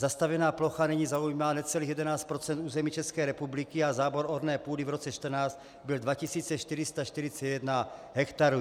Zastavěná plocha nyní zaujímá necelých 11 % území České republiky a zábor orné půdy v roce 2014 byl 2 441 hektarů.